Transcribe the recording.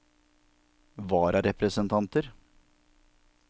vararepresentanter